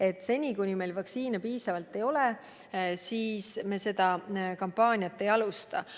Et seni, kuni meil vaktsiini piisavalt ei ole, ei maksa seda kampaaniat alustada.